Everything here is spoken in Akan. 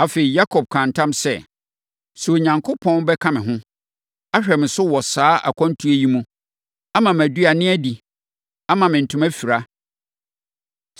Afei, Yakob kaa ntam sɛ, “Sɛ Onyankopɔn bɛka me ho, ahwɛ me so wɔ saa akwantuo yi mu, ama me aduane adi, ama me ntoma afira,